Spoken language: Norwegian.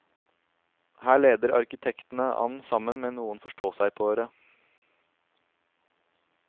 Her leder arkitektene an sammen med noen forståsegpåere.